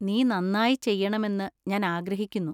നീ നന്നായി ചെയ്യണമെന്ന് ഞാൻ ആഗ്രഹിക്കുന്നു.